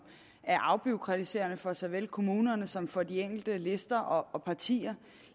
er afbureaukratiserende for såvel kommunerne som for de enkelte lister og partier